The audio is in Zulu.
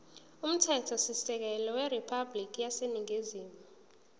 umthethosisekelo weriphabhulikhi yaseningizimu